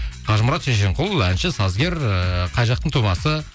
қажымұрат шешенқұл әнші сазгер ыыы қай жақтың тумасы